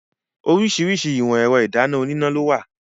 Oríṣiríṣi ìwọ̀n ẹ̀rọ ìdáná oníná lówà.